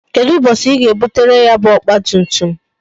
Kedụ ụbọchị I ga ebutere m ya bu ọgba tum tum?